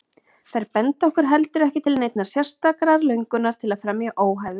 Þær benda heldur ekki til neinnar sérstakrar löngunar til að fremja óhæfuverk.